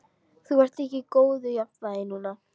Þú ert ekki í góðu jafnvægi núna.